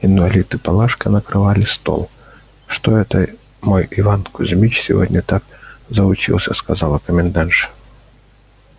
инвалид и палашка накрывали стол что это мой иван кузмич сегодня так заучился сказала комендантша